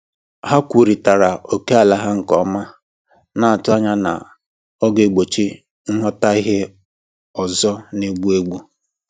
Ha kwurịtara ókèala ha nke ọma, na-atụ anya na ọ ga-egbochi nghọtahie ọzọ na-egbu mgbu.